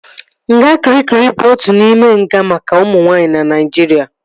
Nga Kịrikịri bụ otu n'ime nga maka ụmụ nwaanyị na Naijiria